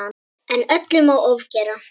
En öllu má ofgera.